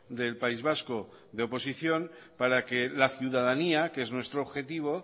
del país vasco de oposición para que la ciudadanía que es nuestro objetivo